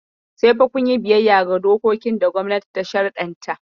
Sai fa kun yi biyayya ga dokokin da gwamnati ta sharɗanta.